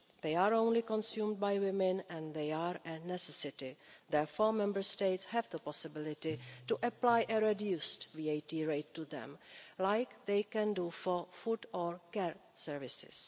They are only consumed by women and they are a necessity. Therefore, Member States have the possibility to apply a reduced VAT rate to them, as they can do for food or care services.